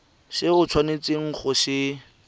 se o tshwanetseng go se